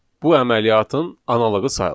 bu əməliyyatın analoğu sayılır.